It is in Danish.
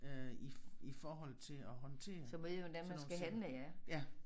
Øh i i forhold til at håndtere sådan nogle sager ja